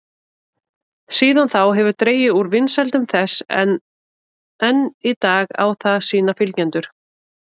Síðan þá hefur dregið úr vinsældum þess en enn í dag á það sína fylgjendur.